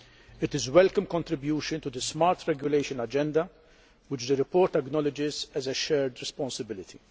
It is a welcome contribution to the smart regulation agenda, which the report acknowledges as a shared responsibility.